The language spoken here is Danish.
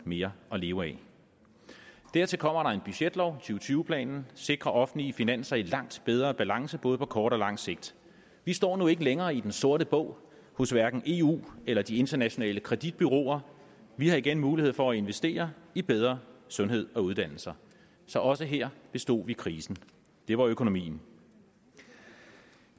mere at leve af dertil kommer der en budgetlov to og tyve planen sikrer offentlige finanser i langt bedre balance på både kort og lang sigt vi står nu ikke længere i den sorte bog hos hverken eu eller de internationale kreditbureauer vi har igen mulighed for at investere i bedre sundhed og uddannelser så også her bestod vi krisen det var økonomien